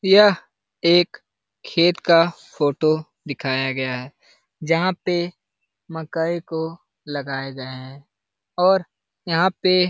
यह एक खेत का फोटो दिखाया गया है जहाँ पे मकई को लगाए गए है और यहाँ पे --